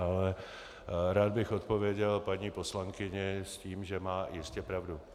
Ale rád bych odpověděl paní poslankyni s tím, že má jistě pravdu.